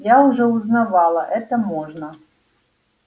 я уже узнавала это можно